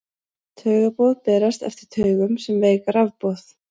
taugaboð berast eftir taugum sem veik rafboð